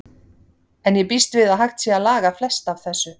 En ég býst við að hægt sé að laga flest af þessu.